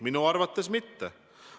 Minu arvates mitte.